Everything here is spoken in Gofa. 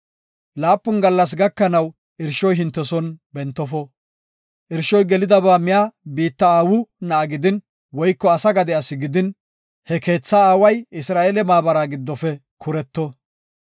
Laapun gallas gakanaw irshoy hinte son bentofo. Irshoy gelidaba miya biitta aawu na7a gidin woyko asa gade asi gidin, he keetha aaway Isra7eele maabara giddofe kureto.